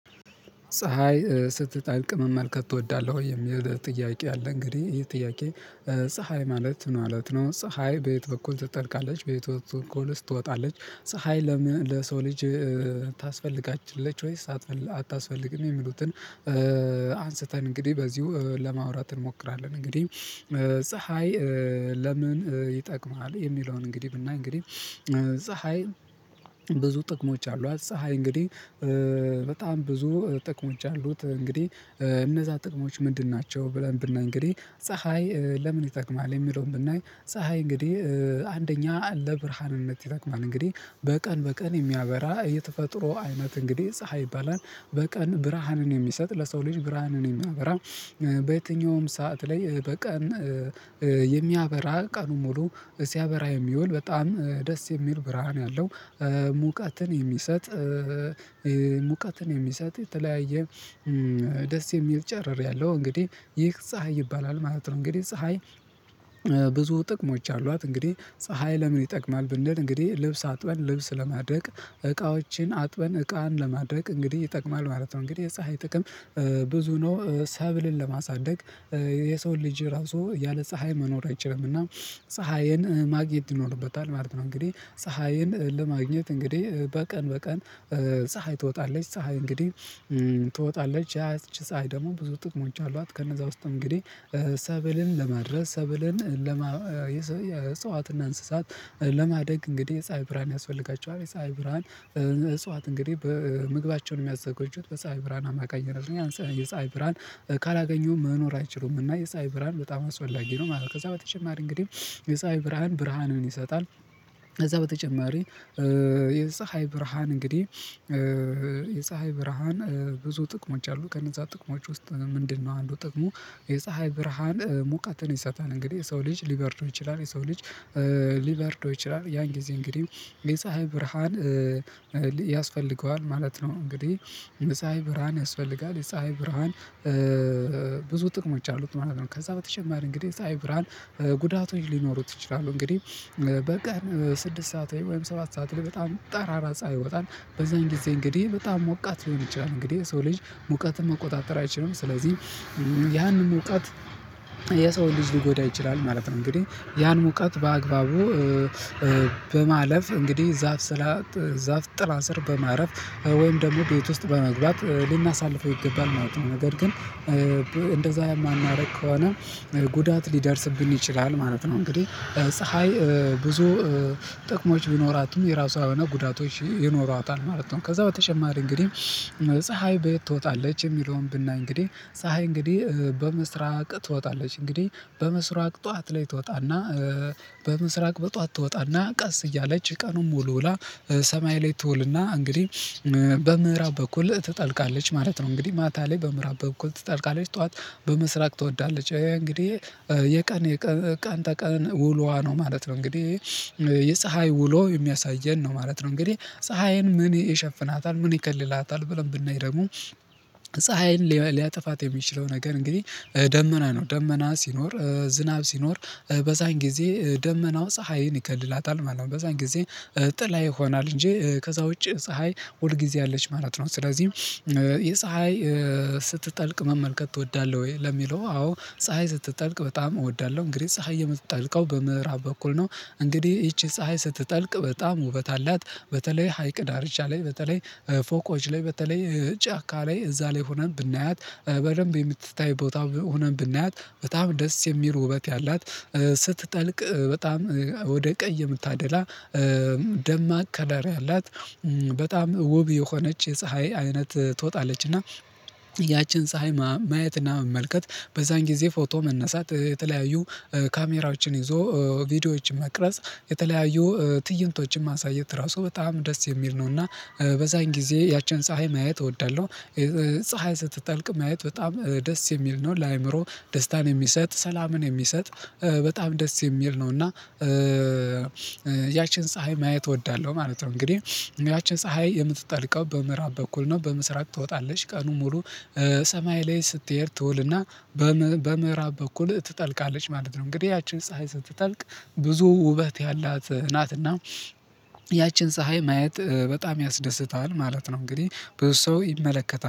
ፀሀይ ስትጠልቅ መመልከት ትወዳለህ ወይ የሚለው ጥያቄ አለ እንግዲህ ይሄ ጥያቄ ፀሀይ ማለት ምን ማለት ነው? ፀሀይ በየት በኩል ትጠልቃለች በየት ወጥ በኩልስ ትወጣለች ፀሀይ ለሰው ልጅ ታስፈልጋችለች ወይስ አታስፈልግም የሚሉትን? አንስተን እንግዲህ በዚሁ ለማውራት እንሞክራለን። እንግዲህ ለምን ይጠቅማል የሚለውን እንግዲህ ብናይ እንግዲህ ፀሀይ ብዙ ጥቅሞች አሉ። ፀሀይ እንግዲህ በጣም ብዙ ጥቅሞች አሉት እንግዲህ እነዛ ጥቅሞች ምንድን ናቸው? ብለን ብናይ እንግዲህ ፀሀይ ለምን ይጠቅማል የሚለውን ብናይ ፀሀይ እንግዲህ አንደኛ ለብርሃንነት ይጠቅማል። እንግዲህ በቀን በቀን የሚያበራ እየተፈጥሮ አይነት እንግዲህ ፀሀይ ይባላል በቀን ብርሃንን የሚሰጥ ለሰው ልጅ ብርሃንን የሚያበራ። በየትኛውም ሰዓት ላይ በቀን የሚያበራ ቀኑን ሙሉ ሲያበራ የሚውል በጣም ደስ የሚል ብርሃን ያለው ሙቃትን የተለያየ ደስ የሚል ጨርሪያለሁ እንግዲህ ይህ ፀሀይ ይባላል ማለት ነው። እንግዲህ ፀሀይ ብዙ ጥቅሞች አሏት። እንግዲህ ፀሀይ ለምን ይጠቅማል ብንል እንግዲህ ልብስ አጥበን ልብስ ለማድረቅ እቃዎችን አጥበን እቃን ለማድረቅ እንግዲህ ይጠቅማል ማለት ነው። እንግዲህ የፀሀይ ጥቅም ብዙ ነው። ሰብልን ለማሳደግ የሰውን ልጅ ራሱ ያለ ፀሀይ መኖር አይችልምና ፀሀይን ማግየት ይኖርበታል ማለት ነው። እንግዲህ ፀሀይን ለማግኘት እንግዲህ በቀን በቀን ፀሀይ ትወጣለች ፀሀይ እንግዲህ ትወጣለች ያች ፀሀይ ደግሞ ብዙ ጥቅሞቻ አሏት። ከነዛ ውስጥ እንግዲህ ሰብልን ለማድረስ ሰብልን የእጽዋትና እንስሳት ለማደግ እንግዲህ የፀሀይ ብርሃን ያስፈልጋቸዋል። ፀሀይ ብርሃን እጽዋት እንግዲህ በምግባቸውን የሚያዘጋጁት በፀሀይ ብርሃን አማካኝ ነው የሚለው የፀሀይ ብርሃን ካላገኘው መኖር አይችሉም የፀሀይ ብርሃን በጣም አስፈላጊ ነው ማለት ነው። ከዛ በተጨማሪ እንግዲህ የፀሀይ ብርሃን ብርሃንን ይሰጣል። ከዛ በተጨማሪ የፀሀይ ብርሃን እንግዲህ የፀሀይ ብርሃን ብዙ ጥቅሞች አሉት ከነዛ ጥቅሞች ውስጥ ምንድነው አንዱ ጥቅሙ? የፀሀይ ብርሃን ሙቀትን ይሰጣል እንግዲህ የሰው ልጅ ሊበርደው ይችላል የሰው ልጅ ሊበርደው ይችላል ያን ጊዜ እንግዲህ የፀሀይ ብርሃን ያስፈልገዋል ማለት ነው። እንግዲህ የፀሀይ ብርሃን ያስፈልጋል የፀሀይ ብርሃን ብዙ ጥቅሞች አሉት ማለት ነው። ከዛ በተጨማሪ እንግዲህ ፀሀይ ብርሃን ጉዳቶች ሊኖሩት ይችላሉ። እንግዲህ በቀን ስድስት ሰዓት ወይም ሰባት ሰዓት በጣም ጠራራ ሰዓት ይወጣል በዛን ጊዜ እንግዲህ በጣም ሞቃት ሊሆን ይችላል እንግዲህ ሰው ልጅ ሙቀትን መቆጣጠር አይችልም ስለዚህ ያንን ሙቃት የሰው ልጅ ሊጎዳ ይችላል። ማለት ነው እንግዲህ ያን ሙቀት በአግባቡ በማለፍ እንግዲህ ዛፍ ጥላ ስር በማረፍ ወይም ደግሞ ቤት ውስጥ በመግባት ልናሳልፈው ይገባል ማለት ነው። ነገር ግን እንደዛ የማናደርግ ከሆነ ጉዳት ሊደርስብን ይችላል ማለት ነው። እንግዲህ ፀሀይ ብዙ ጥቅሞች ቢኖራትም የራሷ የሆነ ጉዳቶች ይኖሯታል ማለት ነው። ከዛ በተጨማሪ እንግዲህ ፀሀይ በየት ትወጣለች የሚለውን ብናይ እንግዲህ ፀሀይ እንግዲህ በምስራቅ ትወጣለች። እንግዲህ በምስራቅ ጠዋት ላይ ትወጣና በምስራቅ በጠዋት ትወጣና ቀስ እያለች ቀኑን ሙሉ ውላ ሰማይ ላይ ትውልና እንግዲህ በምዕራብ በኩል ትጠልቃለች ማለት ነው። እንግዲህ ማታ ላይ በምዕራብ በኩል ትጠራቃለች ጠዋት በምስራቅ ትወጣለች እንግዲህ የቀን የቀን ተቀን ውሎዋ ነው ማለት ነው። እንግዲህ የፀሀይ ውሎ የሚያሳየን ነው ማለት ነው። እንግዲህ ፀሀይን ምን ይሸፍናታል ምን ይከልላታል? ብለን ብናይ ደግሞ ፀሀይን ሊያጠፋት የሚችለው ነገር እንግዲህ ደመና ነው ደመና ሲኖር ዝናብ ሲኖር በዛን ጊዜ ደመናው ፀሀይን ይከልላታል ማለት ነው። በዛን ጊዜ ጥላ ይሆናል እንጂ ከዛ ውጪ ፀሀይ ሁል ጊዜ አለች ማለት ነው። ስለዚህ ፀሀይ ስትጠልቅ መመልከት ትወዳለህ ወይ ለሚለው? አዎ ፀሀይ ስትጠልቅ በጣም እወዳለሁ እንግዲህ ፀሀይ የምትጠልቀው በምዕራብ በኩል ነው። እንግዲህ ይቺ ፀሀይ ስትጠልቅ በጣም ውበት አላት። በተለይ ሀይቅ ዳርቻ ላይ በተለይ ፎቆች ላይ በተለይ ጫካ ላይ እዛ ላይ ሆነን ብናያት በደንብ የምትታይ ቦታ ሆነን ብናያት በጣም ደስ የሚል ውበት ያላት። ስትጠልቅ በጣም ወደ ቀይ የምታደላ ደማቅ ከለሪ ያላት። በጣም ውብ የሆነች የፀሀይ አይነት ትወጣለችና ያችን ፀሀይ ማየትና መመልከት በዛን ጊዜ ፎቶ መነሳት የተለያዩ ካሜራዎችን ይዞ ቪዲዮዎችን መቅረጽ የተለያዩ ትይንቶችን ማሳየት ራሱ በጣም ደስ የሚል ነው። እና በዛን ጊዜ ያችን ፀሀይ ማየት እወዳለሁ ፀሀይ ስትጠልቅ ማየት በጣም ደስ የሚል ነው። ለአእምሮ ደስታን የሚሰጥ ሰላምን የሚሰጥ በጣም ደስ የሚል ነው። እና ያችን ፀሀይ ማየት እወዳለሁ ማለት ነው። እንግዲህ ያቺ ፀሀይ የምትጠልቀው በምዕራብ በኩል ነው። በምስራቅ ትወጣለች ቀኑ ሙሉ ሰማይ ላይ ስትሄድ ትውልና በምዕራብ በኩል ትጠልቃለች ማለት ነው። እንግዲህ ያችን ፀሀይ ስትጠልቅ ብዙ ውበት ያላት ናትና ያችን ፀሀይ ማየት በጣም ያስደስታል ማለት ነው። እንግዲህ ብዙ ሰው ይመለከታል